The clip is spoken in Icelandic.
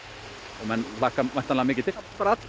og menn hlakka mikið til það